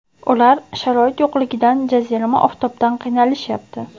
Ular sharoit yo‘qligidan, jazirama oftobdan qiynalishyapti.